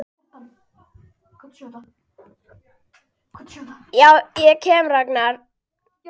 Upp á æru og trú.